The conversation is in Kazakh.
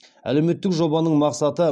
әлеуметтік жобаның мақсаты